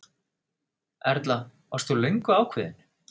Erla: Varst þú löngu ákveðinn?